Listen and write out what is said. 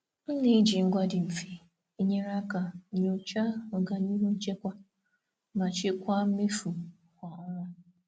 M na-eji ngwa dị mfe enyere aka nyochaa ọganihu nchekwa ma chịkwaa mmefu kwa ọnwa.